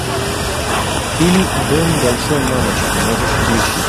фильм дом большой мамочки можешь включить